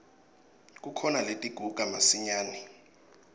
kukhona letiguga masinyane